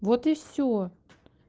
вот и всё